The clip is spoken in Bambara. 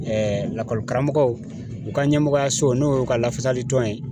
lakɔli karamɔgɔw, u ka ɲɛmɔgɔyaso n'o y'u ka lafasali dɔn ye.